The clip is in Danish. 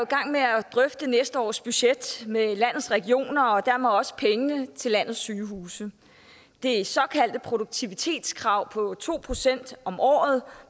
gang med at drøfte næste års budget med landets regioner og dermed også penge til landets sygehuse det såkaldte produktivitetskrav på to procent om året